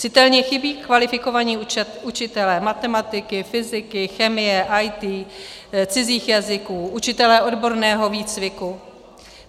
Citelně chybí kvalifikovaní učitelé matematiky, fyziky, chemie, IT, cizích jazyků, učitelé odborného výcviku.